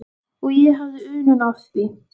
Og ég hafði unun af því.